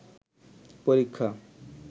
পরীক্ষা